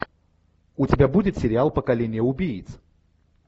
у тебя будет сериал поколение убийц